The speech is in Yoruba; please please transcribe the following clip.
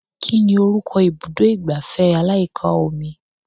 Kí ni orúkọ ibùdó ìgbafẹ́ aláyíká omi